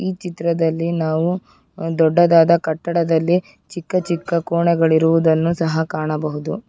ಈ ಚಿತ್ರದಲ್ಲಿ ನಾವು ದೊಡ್ಡದಾದ ಕಟ್ಟಡದಲ್ಲಿ ಚಿಕ್ಕ ಚಿಕ್ಕ ಕೋಣೆಗಳಿರುವುದನ್ನು ಸಹ ಕಾಣಬಹುದು.